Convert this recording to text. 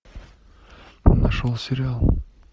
нашел сериал